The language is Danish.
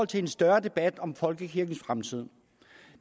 til en større debat om folkekirkens fremtid